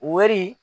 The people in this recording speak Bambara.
Wari